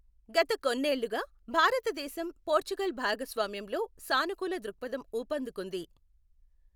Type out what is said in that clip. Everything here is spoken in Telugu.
గత కొన్నేళ్లుగా భారతదేశం పోర్చుగల్ భాగస్వామ్యంలో సానుకూల దృక్ఫధం ఊపందుకుంది.